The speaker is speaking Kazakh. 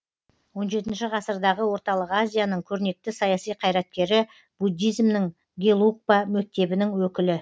он жетінші ғасырдағы орталық азияның көрнекті саяси қайраткері буддизмнің гелугпа мектебінің өкілі